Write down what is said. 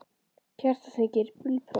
Kertasníkir: Bílpróf?